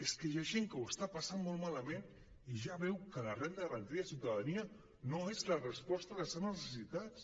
és que hi ha gent que ho està passant molt malament i ja veu que la renda garantida de ciutadania no és la resposta a les seves necessitats